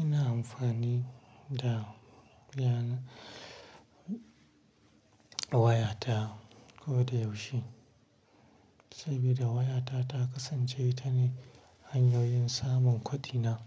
Ina amfani da wayata koda yaushe, saboda wayata ta kasance ita ne hanyoyin samun kwadina.